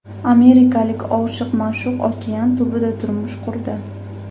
Amerikalik oshiq-ma’shuq okean tubida turmush qurdi.